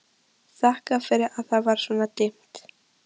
Þakkaði fyrir að það var svona dimmt.